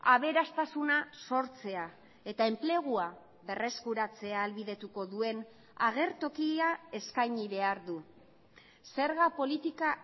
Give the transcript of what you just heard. aberastasuna sortzea eta enplegua berreskuratzea ahalbidetuko duen agertokia eskaini behar du zerga politika